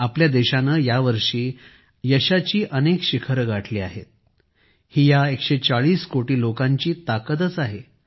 आपल्या देशाने यावर्षी अनेक विशेष कामगिरी पार पाडल्या आहेत ही या 140 कोटी लोकांची ताकदच आहे